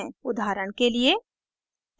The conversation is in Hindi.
उदाहरण के लिए